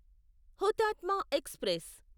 Hutatma express